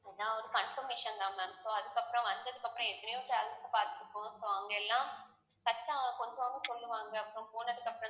நான் ஒரு confirmation தான் ma'am so அதுக்கப்புறம் வந்ததுக்கு அப்புறம் எத்தனையோ பார்த்திருப்போம் so அவங்க எல்லாம் சொல்லுவாங்க அப்புறம் போனதுக்கு